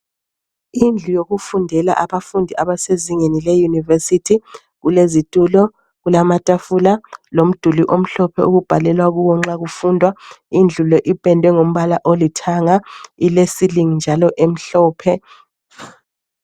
Indlu yokufundela abafundi abasezingeni leyunivesithi kulezitulo kulamatafula lomduli omhlophe okubhalelwa kuwo nxa kufundwa indlu le ipendwe ngombala olithanga ile ceiling njalo emhlophe.